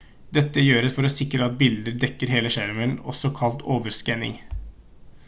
dette gjøres for å sikre at bildet dekker hele skjermen også kalt overskanning